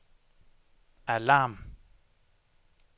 alarm